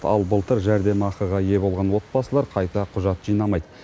ал былтыр жәрдемақыға ие болған отбасылар қайта құжат жинамайды